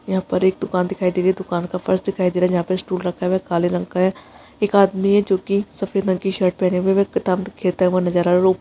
यहाँ पर एक दुकान दिखाई दे रही है दुकान का फर्श दिखाए दे रहा है जहाँ पे स्टूल रखा हुआ है काले रंग का है एक आदमी है जो कि सफ़ेद रंग की शर्ट पहने हुए है वह किताब खरीदता हुआ नजर आ रहा है रो --